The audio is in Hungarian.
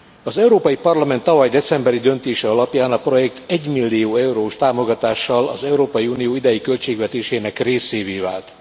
Az Európai Parlament tavaly decemberi döntése alapján a projekt egymillió eurós támogatással az Európai Unió idei költségvetésének részévé vált.